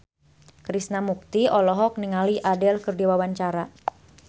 Krishna Mukti olohok ningali Adele keur diwawancara